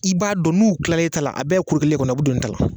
I b'a dɔn n'u kilala e ta la, a bɛɛ ye ko kelen kɔni ye o bɛ don ne ta la.